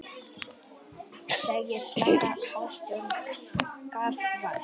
Segir slaka hagstjórn skaðvald